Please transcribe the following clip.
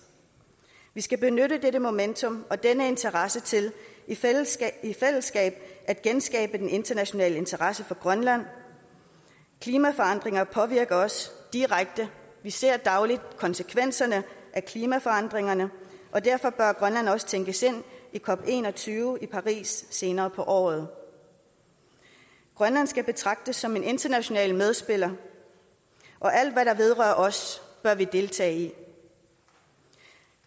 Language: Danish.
vi skal benytte dette momentum og denne interesse til i fællesskab i fællesskab at genskabe den internationale interesse for grønland klimaforandringerne påvirker os direkte vi ser dagligt konsekvenserne af klimaforandringerne og derfor bør grønland også tænkes ind i cop21 i paris senere på året grønland skal betragtes som en international medspiller og alt hvad der vedrører os bør vi deltage i